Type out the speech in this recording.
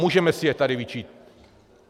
Můžeme si je tady vyčíslit.